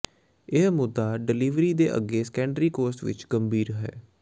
ਇਹ ਮੁੱਦਾ ਡਿਲੀਵਰੀ ਦੇ ਅੱਗੇ ਸੈਕੰਡਰੀ ਕੋਰਸ ਵਿਚ ਗੰਭੀਰ ਹੈ